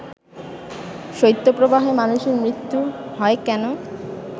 শৈত্যপ্রবাহে মানুষের মৃত্যু হয় কেন